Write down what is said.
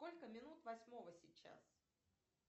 сколько минут восьмого сейчас